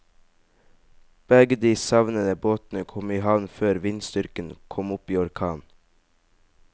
Begge de savnede båtene kom i havn før vindstyrken kom opp i orkan.